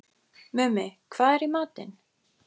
Mummi, hvað er í matinn?